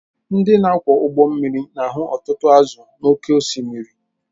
Ndị na-akwọ ụgbọ mmiri na-ahụ ọtụtụ azụ̀ n’oké osimiri